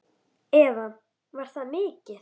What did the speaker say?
Eva: Var það mikið?